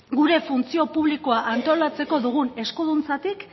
gure funtzio publikoa antolatzeko dugun eskuduntzatik